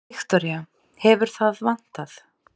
Viktoría: Hefur það vantað?